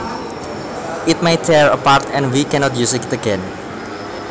It may tear apart and we cannot use it again